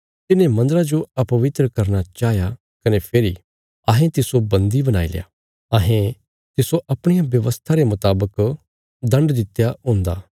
तिने मन्दरा जो अपवित्र करना चाहया कने फेरी अहें तिस्सो बन्दी बणाईल्या अहें तिस्सो अपणिया व्यवस्था रे मुतावक दण्ड दित्या हुन्दा